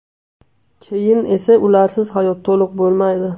Keyin esa ularsiz hayot to‘liq bo‘lmaydi.